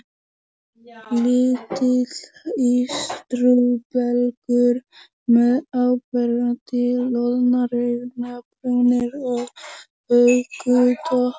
Lítill ístrubelgur með áberandi loðnar augnabrúnir og hökutopp.